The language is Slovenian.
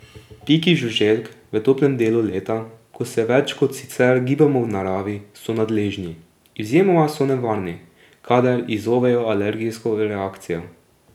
Piki žuželk v toplem delu leta, ko se več kot sicer gibamo v naravi, so nadležni, izjemoma so nevarni, kadar izzovejo alergijsko reakcijo.